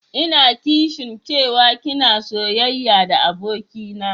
Ina kishin cewa ki na soyayya da abokina.